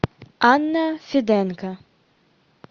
анна феденко